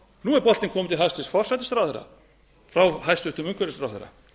nú er boltinn kominn til hæstvirts forsætisráðherra frá hæstvirtur umhverfisráðherra